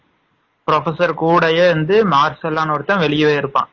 Professor குடையே இருந்து மார்செல்லனு ஒருத்தன் வெளியவே இருப்பான்.